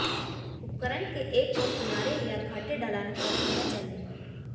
उपकरण के एक ओर किनारे या घाटी ढलान पर होना चाहिए